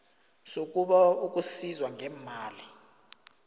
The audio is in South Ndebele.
sokubawa ukusizwa ngeemali